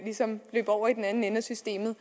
ligesom løb over i den anden ende af systemet